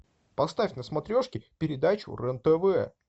поставь на смотрешке передачу рен тв